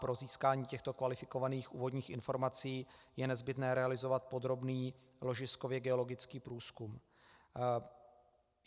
Pro získání těchto kvalifikovaných úvodních informací je nezbytné realizovat podrobný ložiskově geologický průzkum.